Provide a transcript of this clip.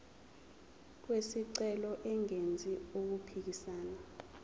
wesicelo engenzi okuphikisana